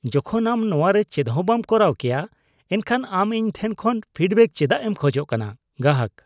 ᱡᱚᱠᱷᱚᱱ ᱟᱢ ᱱᱚᱶᱟ ᱨᱮ ᱪᱮᱫ ᱦᱚᱸ ᱵᱟᱢ ᱠᱚᱨᱟᱣ ᱠᱮᱭᱟ ᱮᱱᱠᱷᱟᱱ ᱟᱢ ᱤᱧ ᱴᱷᱮᱱ ᱠᱷᱚᱱ ᱯᱷᱤᱰᱵᱮᱜ ᱪᱮᱫᱟᱜ ᱮᱢ ᱠᱷᱚᱡ ᱠᱟᱱᱟ ᱾ (ᱜᱟᱦᱟᱠ)